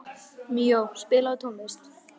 Míó, spilaðu tónlist.